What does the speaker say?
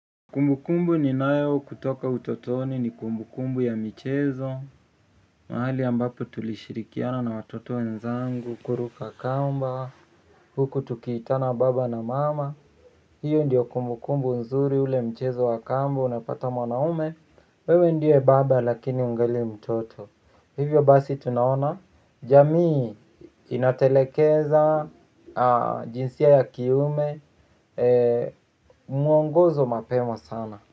Kumbukumbu ni nayo kutoka utotoni ni kumbukumbu ya michezo. Mahali ambapo tulishirikiana na watoto wenzangu kuruka kamba, huku tukiitana baba na mama. Hiyo ndiyo kumbu kumbu nzuri ule mchezo wa kamba, unapata mwanaume. Wewe ndiye baba lakini ungali mtoto. Hivyo basi tunaona, jamii inatelekeza jinsia ya kiume. Muongozo mapema sana.